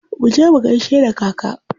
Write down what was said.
Muje mu gaishe da kaka.